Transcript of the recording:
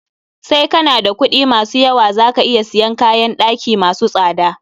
Sai kana da kuɗi ma su yawa, za ka iya siyan kayn ɗaki masu tsada.